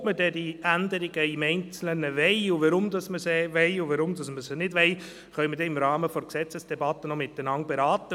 Ob wir dann diese Änderungen im Einzelnen wollen, und warum wir diese wollen oder nicht, können wir noch im Rahmen der Gesetzesdebatte beraten.